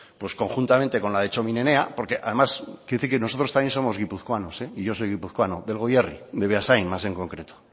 conjuntamente con la de txomin enea porque además quiero decir que nosotros también somos guipuzcoanos y yo soy guipuzcoano del goierri de beasain más en concreto